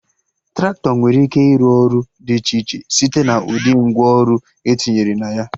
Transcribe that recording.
Traktọ nwere ike ịrụ ọrụ dị iche iche site na ụdị ngwa ọrụ etinyere na ya